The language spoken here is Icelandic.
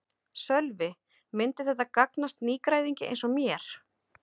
Sölvi: Myndi þetta gagnast nýgræðingi eins og mér?